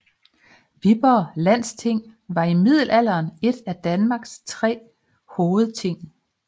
Viborg Landsting var i middelalderen et af Danmarks tre hovedting